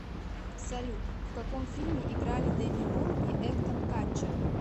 салют в каком фильме играли деми мур и эктон катчер